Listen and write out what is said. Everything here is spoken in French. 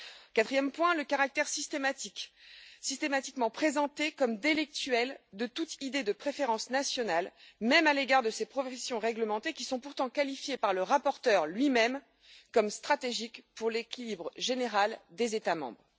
quatrièmement, le caractère systématiquement présenté comme délictuel de toute idée de préférence nationale, même à l'égard de ces professions réglementées, qui sont pourtant qualifiées, par le rapporteur lui même, de stratégiques pour l'équilibre général des États membres